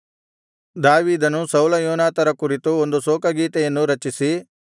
ದಾವೀದನು ಸೌಲ ಯೋನಾತನರ ಕುರಿತು ಒಂದು ಶೋಕಗೀತೆಯನ್ನು ರಚಿಸಿ